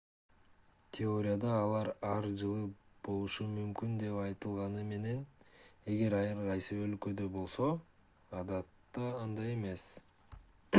теорияда алар ар жылы болушу мүмкүн деп айтылганы менен эгер ар кайсы өлкөдө болсо адатта андай эмес